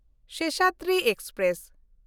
Seshadri express